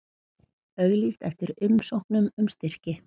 Auglýst eftir umsóknum um styrki